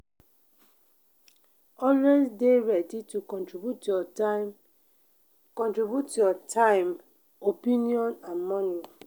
always de ready to contribute your time contribute your time opinion and money